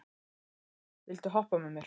Anita, viltu hoppa með mér?